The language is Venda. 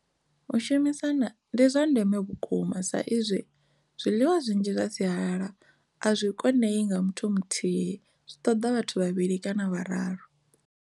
U shumisana ndi zwa ndeme vhukuma sa izwi zwiḽiwa zwinzhi zwa sialala a zwi konei nga muthu muthihi zwi ṱoḓa vhathu vhavhili kana vhararu.